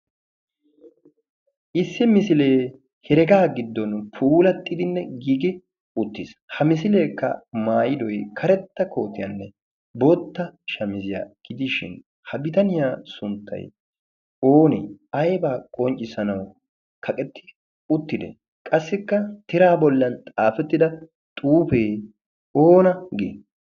issi misilee heregaa giddon puulaxxidinne giigi uttiis. ha misileekka maayidoy karetta kootiyaanne bootta shamiziyaa gidiishin ha bitaniyaa sunttai oonee aybaa qonccissanawu kaqetti uttidee qassikka tira bollan xaafettida xuufee oona gii?